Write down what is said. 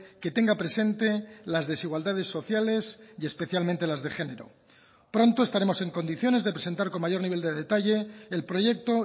que tenga presente las desigualdades sociales y especialmente las de género pronto estaremos en condiciones de presentar con mayor nivel de detalle el proyecto